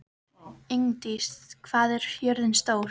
Ingdís, hvað er jörðin stór?